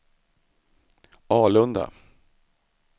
Alunda